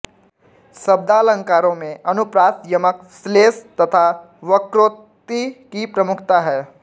शब्दालंकारों में अनुप्रास यमक श्लेष तथा वक्रोक्ति की प्रमुखता है